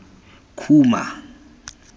khuma